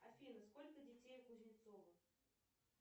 афина сколько детей у кузнецова